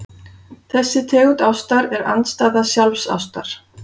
Þessi tegund ástar er andstæða sjálfsástar.